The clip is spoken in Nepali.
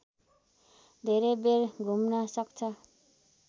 धेरै बेर घुम्न सक्छ